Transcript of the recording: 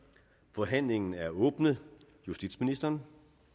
forhandlingen er åbnet justitsministeren